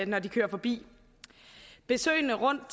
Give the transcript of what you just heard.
når de kører forbi besøgene rundt